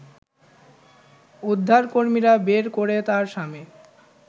উদ্ধারকর্মীরা বের করে তার স্বামী